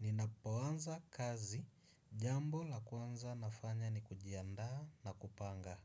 Ninapoanza kazi, jambo la kwanza nafanya ni kujiandaa na kupanga.